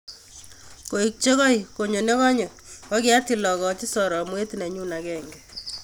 Koek che koek konyo ne kanyo kokiatil akochi soromwet nenyu agenge.